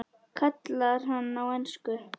kallar hann á ensku.